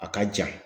A ka jan